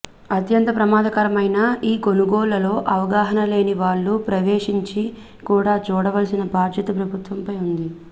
అత్యంత ప్రమాదకరమైన ఈ కొనుగోళ్లలో అవగాహనలేని వాళ్లు ప్రవేశించ కుండా చూడవలసిన బాధ్యత ప్రభుత్వంపై ఉంది